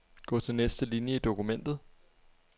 Gå til næste linie i dokumentet.